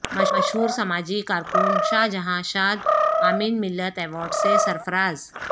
مشہور سماجی کارکن شاہ جہاں شاد امین ملت ایوارڈ سے سرفراز